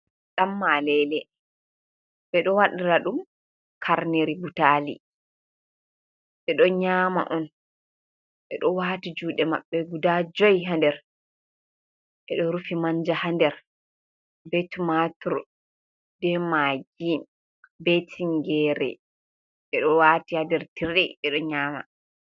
Ɗammalele ɓe ɗo waɗira dum karneri butali ɓe ɗo nyama on ɓe ɗo wati juɗe mabbe guda jui ha nder ɓe ɗo rufi manja ha nder be timatir be maggi be tingere ɓe ɗo wati ha nder tire ɓe ɗo nyama.